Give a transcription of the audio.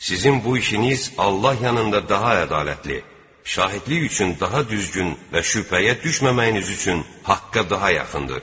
Sizin bu işiniz Allah yanında daha ədalətli, şahidlik üçün daha düzgün və şübhəyə düşməməyiniz üçün haqqa daha yaxındır.